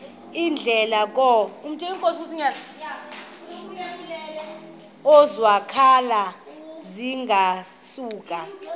iindleko zokwakha zingasuka